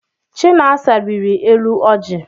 Chinasa rịrị elu ọjị.